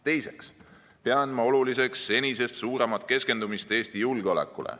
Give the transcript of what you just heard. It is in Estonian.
Teiseks pean ma oluliseks senisest suuremat keskendumist Eesti julgeolekule.